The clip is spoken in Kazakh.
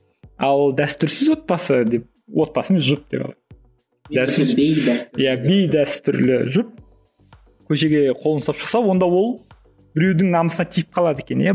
ал дәстүрсіз отбасы деп отбасы емес жұп деп иә бейдәстүрлі жұп көшеге қолын ұстап шықса онда ол біреудің намысына тиіп қалады екен иә